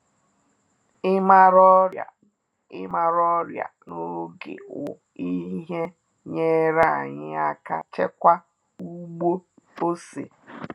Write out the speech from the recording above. Ịmara ọrịa Ịmara ọrịa na-oge wu-ihe nyere anyị aka chekwaa ugbo ose